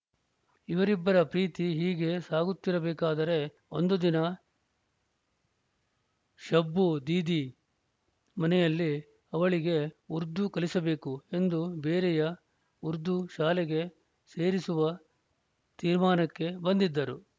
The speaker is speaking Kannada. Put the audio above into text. ಇವರಿಬ್ಬರ ಪ್ರೀತಿ ಹೀಗೇ ಸಾಗುತ್ತಿರಬೇಕಾದರೆ ಒಂದು ದಿನ ಶಬ್ಬು ದೀದಿ ಮನೆಯಲ್ಲಿ ಅವಳಿಗೆ ಉರ್ದು ಕಲಿಸಬೇಕು ಎಂದು ಬೇರೆಯ ಉರ್ದು ಶಾಲೆಗೆ ಸೇರಿಸುವ ತೀರ್ಮಾನಕ್ಕೆ ಬಂದಿದ್ದರು